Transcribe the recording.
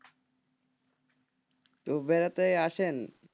তো বেড়াতে আসেন,